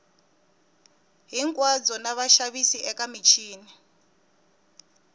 hinkwabyo na vaxavis eka michini